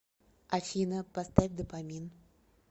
афина поставь допамин